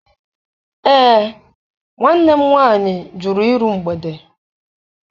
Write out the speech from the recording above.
Ee, nwanne m nwaanyị jụrụ iru mgbede.